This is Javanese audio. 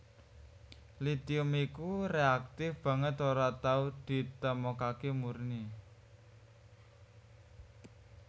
Litium iku reaktif banget ora tau ditemokaké murni